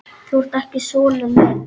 Þú ert ekki sonur minn.